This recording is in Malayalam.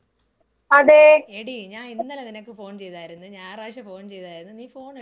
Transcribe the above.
എടീ ഞാൻ ഇന്നലെ നിനക്ക് ഫോൺ ചെയ്തായിരുന്നു, ഞായറാഴ്ച ഫോൺ ചെയ്തായിരുന്നു, നീ ഫോൺ എടുത്തില്ലായിരുന്നു എവിടെപ്പോയാരുന്ന്?